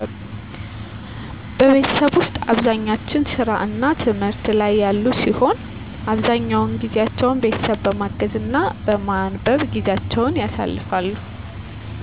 ቤተሠብ ውስጥ አብዛኛች ሥራ እና ትምህት ላይ ያሉ ሲሆን አብዛኛውን ጊዜቸውን ቤተሠብ በማገዝ እና በማንበብ ጊዜቸውን ያሳልፍሉ